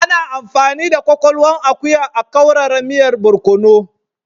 Ana amfani da kwakwalwan akuya a'kaurara miyan borkonu.